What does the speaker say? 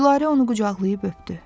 Gülarə onu qucaqlayıb öpdü.